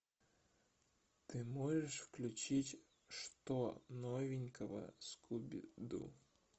ты можешь включить что новенького скуби ду